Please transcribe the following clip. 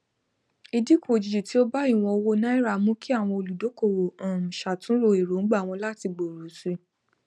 ìdínkù òjijì tí ó bá ìwọn owó naira mú kí àwọn olùdókòwò um ṣàtúnrò èróngbà wọn láti gbòòrò sí i